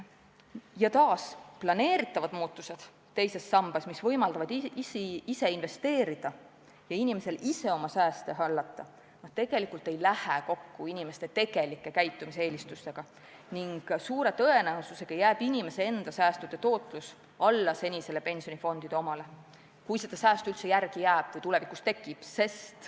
Ja taas: plaanitavad muudatused teises sambas, mis võimaldavad inimesel ise investeerida ja oma sääste hallata, tegelikult ei lähe kokku inimeste tegelike käitumiseelistustega ning suure tõenäosusega jääb inimese enda säästude tootlus alla senisele pensionifondide omale – kui seda säästu üldse jääb või tulevikus tekib.